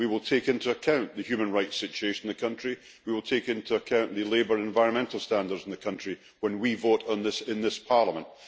We will take into account the human rights situation in the country, and we will take into account the labour and environmental standards in the country when we vote on this in this Parliament.